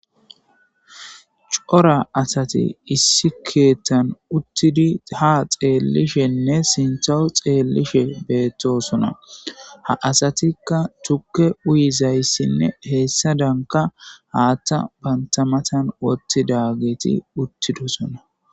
Coora asati issi keththan uttida ha xellishene sinththa xelishe bettosona ha asatika tuuke uyizayssine hesadanka haththa banta matan woththidageti uttidosona.